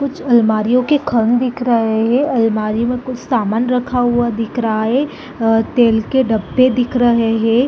कुछ अलमारी के खंद दिख रहे हैं अलमारी में कुछ सामान रखा हुआ दिख रहा है और तेल के डब्बे दिख रहे है।